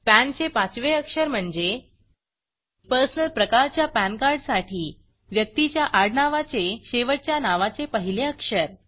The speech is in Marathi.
पॅन चे पाचवे अक्षर म्हणजे पर्सनल प्रकारच्या पॅन कार्ड साठी व्यक्तीच्या आडनावाचेशेवटच्या नावाचे पहिले अक्षर